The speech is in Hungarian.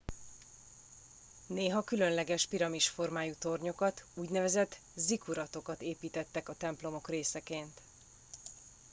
néha különleges piramis formájú tornyokat úgynevezett zikkuratokat építettek a templomok részeként